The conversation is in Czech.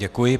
Děkuji.